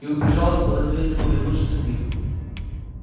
и убежала с подозрением оглянувшись на них